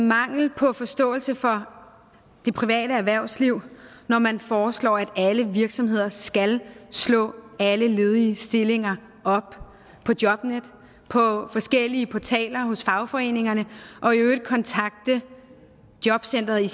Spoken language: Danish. mangel på forståelse for det private erhvervsliv når man foreslår at alle virksomheder skal slå alle ledige stillinger op på jobnetdk på forskellige portaler hos fagforeningerne og i øvrigt kontakte jobcentret i